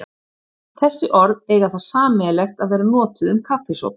Þessi orð eiga það sameiginlegt að vera notuð um kaffisopa.